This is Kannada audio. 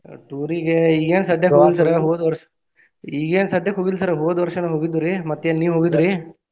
Tour ಗೆ ಈಗೇನ್ ಸದ್ಯ ಹೋಗಿಲ್ಲಾ ಹೋದ ವರ್ಷ ಈಗೇನ್ ಸದ್ಯ ಹೋಗಿಲ್ಲ sir ಹೋದ ವರ್ಷ ನಾ ಹೋಗಿದ್ದುರಿ ಮತ್ತೇನ್ ನೀವ್ ಹೋಗಿದ್ರಿ?